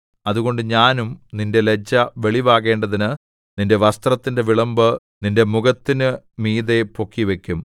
അതുകൊണ്ട് ഞാനും നിന്റെ ലജ്ജ വെളിവാകേണ്ടതിന് നിന്റെ വസ്ത്രത്തിന്റെ വിളുമ്പ് നിന്റെ മുഖത്തിനു മീതെ പൊക്കിവയ്ക്കും